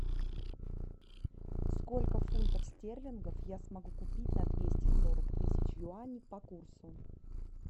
сколько фунтов стерлингов я смогу купить на двести сорок тысяч юаней по курсу